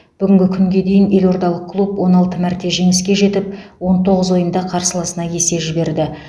бүгінгі күнге дейін елордалық клуб он алты мәрте жеңіске жетіп он тоғыз ойында қарсыласына есе жіберді